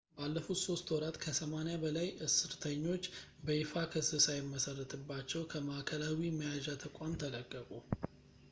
ባለፉት 3 ወራት ከ80 በላይ እስርተኞች በይፋ ክስ ሳይመሰረትባቸው ከማዕከላዊ መያዣ ተቋም ተለቀቁ